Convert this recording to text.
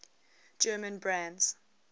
german brands